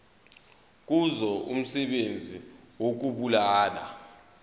kuzo umsebenzi wokubulala